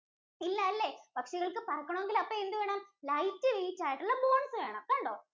ഇല്ലാലെ, പക്ഷികൾക്ക് പറക്കണോങ്കില് അപ്പൊ എന്തുവേണം? light weight ആയിട്ടുള്ള bones വേണം. കണ്ടോ?